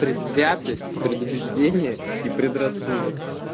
предвзятость предубеждение и предрассудок